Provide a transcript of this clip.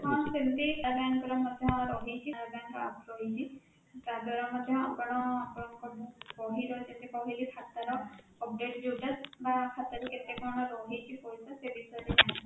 ହଁ, ସେମିତି para bank ରେ ମଧ୍ୟ ରହିଛି para bank APP ରହିଛି ତା ଦ୍ୱାରା ମଧ୍ୟ ଆପଣ ଆପଣଙ୍କର book ବହି ର ଯେମିତି କହିଲି ଖାତା ର update ଯୋଉଟା ବା ଖାତା ରେ କେତେ କଣ ରହିଛି ପଇସା ସେ ବିଷୟ ରେ ଜାଣିପାରିବେ?